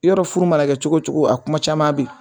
Yɔrɔ furu mana kɛ cogo cogo a kuma caman bɛ yen